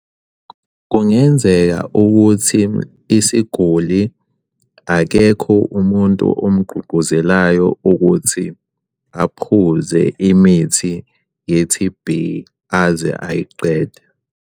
Kungenzeka ukuthi isiguli akekho umuntu omugqugquzelayo ukuthi aphuze imithi ye-T_B aze ayiqede.